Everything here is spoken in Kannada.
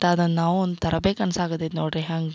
ತದ ನಾವು ಒಂತರ ಬೇಕ್ ಅನ್ಸಾಕ್ ಹತೈತ್ ನೋಡ್ರಿ ಹಂಗ್ --